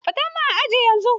Fita min aji yanzu!